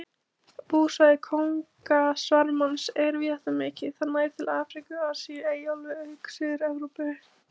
Búsvæði kóngasvarmans er víðáttumikið, það nær til Afríku, Asíu, Eyjaálfu auk Suður-Evrópu.